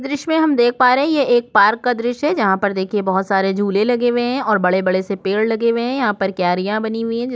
दृश्य में हम देख पा रहै हैं ये एक पार्क का दृश्य है जहां पर देखिए बहुत सारे झूले लगे हुए हैं और बड़े-बड़े से पेड़ लगे हुए हैं कैयरिया बनी हुई है।